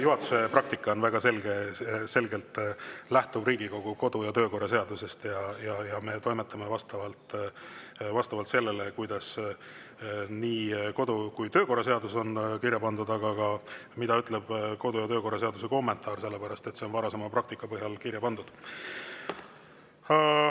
Juhatuse praktika väga selgelt lähtub Riigikogu kodu‑ ja töökorra seadusest ja me toimetame vastavalt sellele, kuidas kodu‑ ja töökorra seaduses on kirja pandud, aga, mida ütleb kodu‑ ja töökorra seaduse kommentaar, sellepärast et see on varasema praktika põhjal kirja pandud.